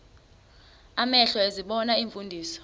amehlo ezibona iimfundiso